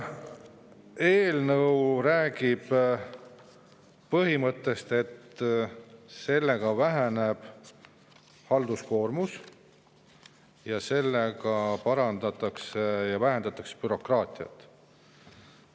Eelnõu räägib põhimõttest, et väheneb halduskoormus ning vähendatakse bürokraatiat.